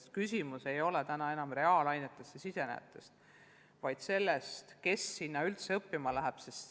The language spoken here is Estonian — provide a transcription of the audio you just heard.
Sest küsimus ei ole lihtsalt reaalainetele pühendujates, vaid selles, kes üldse nende õpetajateks õppima lähevad.